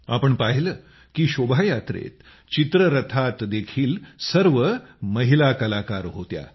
आपण पाहिले की शोभायात्रेत चित्ररथात देखील सर्व महिला कलाकार होत्या